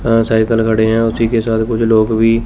cycle खड़ी है उसी के साथ कुछ लोग भी--